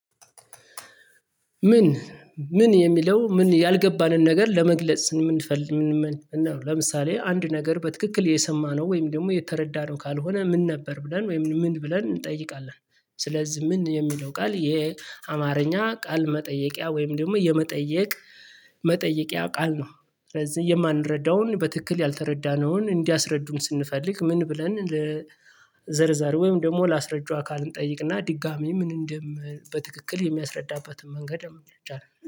ምን ምን የሚለው ምን ያልገባንን ነገር ለመግለጽ ስምን እንፈልግ ምን ለምሳሌ አንድ ነገር በትክክል የሰማነው ወይም ደግሞ የተረዳነው ካልሆነ ምን ነበር ብለን ወይም ምን ብለን እንጠይቃለን? ስለዚህ ምን የሚለው ቃል የአማርኛ ቃል መጠየቂያ ወይም ደግሞ የመጠየቅ መጠየቂያ ያውቃል ነው። ስለዚህ የማንረዳውን በትክክል ያልተረዳነውን እንዲያስረዱን ስንፈልግ ምን ብለን ለዘርዛር ወይም ደግሞ ላስረጅው አካል እንጠይቅና ድጋሜ ምን እንደም በትክክል የሚያስረዳባትን መንገድ አመጣች አለ